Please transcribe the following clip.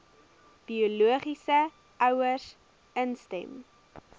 biologiese ouers instem